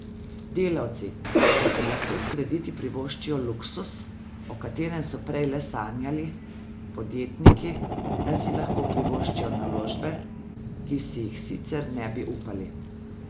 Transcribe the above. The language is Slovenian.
Delavci, da si lahko s krediti privoščijo luksuz, o katerem so prej le sanjali, podjetniki, da si lahko privoščijo naložbe, ki si jih sicer ne bi upali.